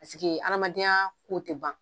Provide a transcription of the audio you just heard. Paseke adamadenya ko te ban